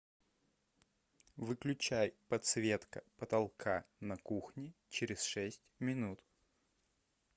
выключай подсветка потолка на кухне через шесть минут